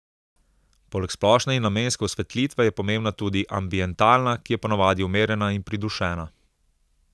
Poleg splošne in namenske osvetlitve je pomembna tudi ambientalna, ki je ponavadi umirjena in pridušena.